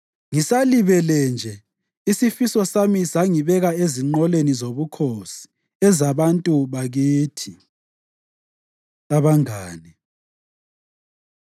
Ngisalibele nje isifiso sami sangibeka ezinqoleni zobukhosi ezabantu bakithi. Abangane